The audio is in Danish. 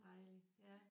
Dejligt ja